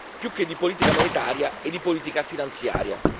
più che di politica monetaria è di politica finanziaria.